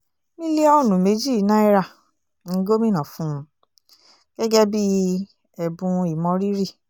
mílíọ̀nù méjì náírà ni gomina fún un gẹ́gẹ́ bíi ẹ̀bùn ìmọrírì